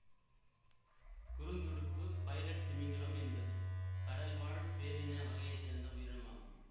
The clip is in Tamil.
குறுந்துடுப்பு பைலட் திமிங்கிலம் என்பது கடல் வாழ் பேரின வகையை சார்ந்த உயிரினம் ஆகும்